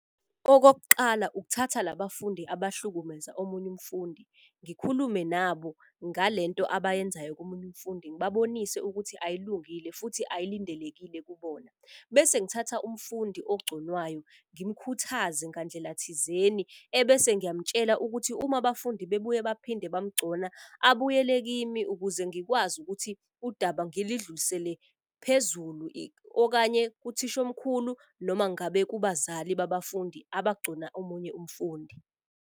Okokuqala, ukuthatha labafundi abahlukumeza omunye umfundi. Ngikhulume nabo ngale nto abayenzayo komunye umfundi. Ngibabonise ukuthi ayilungile futhi ayilindelekile kubona. Bese ngithatha umfundi ogconwayo ngimkhuthaze ngandlela thizeni. Ebese ngiyamtshela ukuthi, uma abafundi bebuye baphinde bamgcona. Abuyele kimi ukuze ngikwazi ukuthi udaba ngilidlulisele phezulu. Okanye kuthishomkhulu noma ngabe kubazali babafundi abagcona omunye umfundi.